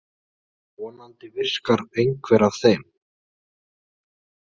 Vonandi virkar einhver af þeim.